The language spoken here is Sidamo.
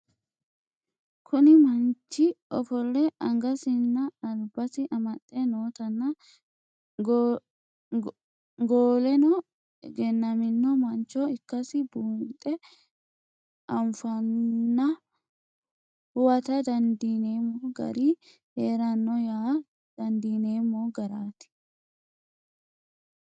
Kuni mannich ofoole angasini alibasi amaxe nootana goleno egenamino manncho ikasi bunxe afanna huwata dandinemo gari heerano yaa dandinemo garati